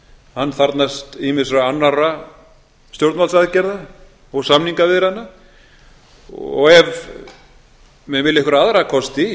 hann þarfnast ýmissa annarra stjórnvaldsaðgerða og samningaviðræðna og ef menn vilja einhverja aðra kosti í